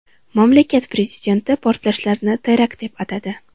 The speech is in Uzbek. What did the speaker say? Mamlakat prezidenti portlashlarni terakt deb atadi .